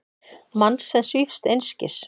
Mann sem svífst einskis.